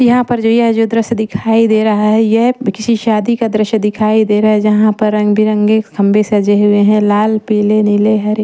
यहाँ पर जो यह जो दृश्य दिखाई दे रहा है यह किसी शादी का दृश्य दिखाई दे रहा है जहाँ पर रंग बिरंगे खंबे सजे हुए हैं लाल पीले नीले हरे।